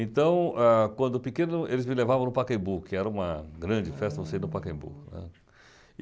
Então, ah quando eu era pequeno, eles me levavam no Pacaembu, que era uma grande festa no Pacaembu, né.